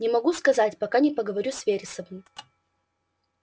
не могу сказать пока не поговорю с вересовым